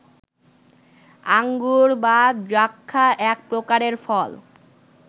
আঙ্গুর বা দ্রাক্ষা এক প্রকারের ফল